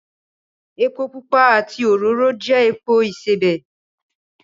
Epo pupa àti òróró jẹ́ epo ìsebẹ̀